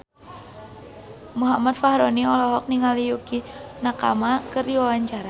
Muhammad Fachroni olohok ningali Yukie Nakama keur diwawancara